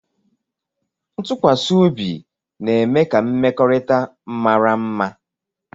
Ntụkwasị obi na-eme ka mmekọrịta mara mma